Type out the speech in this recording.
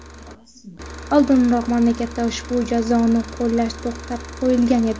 Oldinroq mamlakatda ushbu jazoni qo‘llash to‘xtatib qo‘yilgan edi.